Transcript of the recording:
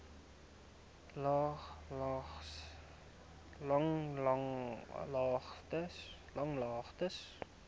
langlaagte